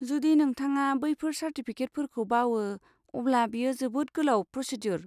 जुदि नोंथाङा बैफोर चार्टिफिकेटफोरखौ बावो, अब्ला बेयो जोबोद गोलाव प्रसेद्युर।